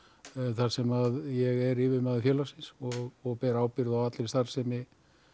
þar sem ég er yfirmaður félagsins og og ber ábyrgð á allri starfsemi